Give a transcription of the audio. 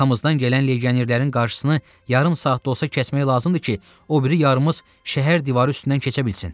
Arxamızdan gələn legionerlərin qarşısını yarım saat da olsa kəsmək lazımdır ki, o biri yarımız şəhər divarı üstündən keçə bilsin.